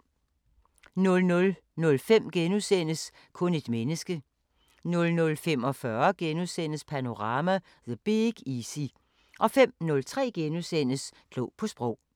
00:05: Kun et menneske * 00:45: Panorama: The Big Easy * 05:03: Klog på Sprog *